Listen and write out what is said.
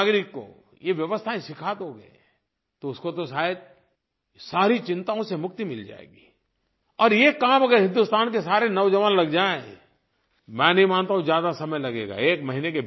सामान्य नागरिक को ये व्यवस्थायें सिखा दोगे तो उसको तो शायद सारी चिंताओं से मुक्ति मिल जाएगी और ये काम अगर हिंदुस्तान के सारे नौजवान लग जाएँ मैं नहीं मानता हूँ ज्यादा समय लगेगा